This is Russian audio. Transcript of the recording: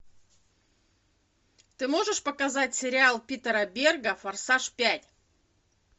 ты можешь показать сериал питера берга форсаж пять